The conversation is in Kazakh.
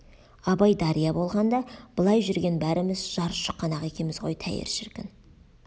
абай дария болғанда былайғы жүрген бәріміз жар шұқанақ екеміз ғой тәйір шіркін